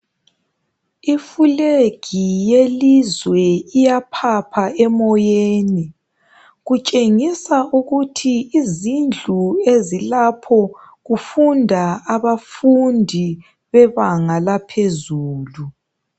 Ifulegi yelizwe iyaphapha emoyeni. Kutshengisa ukuthi izindlu ezilapho kufunda abafundi bebanga laphezulu.